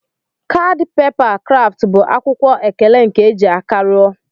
Kadi pepa kraft bu akwụkwọ ekele nke eji aka rụọ.